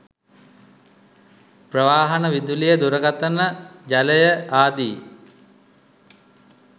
ප්‍රවාහන, විදුලිය, දුරකථන, ජලය ආදී